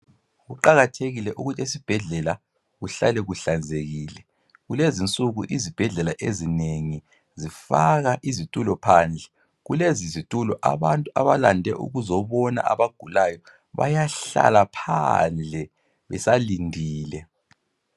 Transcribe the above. Kuqakathekile ukuthi esibhedlela kuhlale kuhlanzekile. Kulezinsuku izibhedlela ezinengi zifaka izitulo phandle. Kulezi zitulo abantu abalande ukuzobona abagulayo bayahlala phandle, besalindile.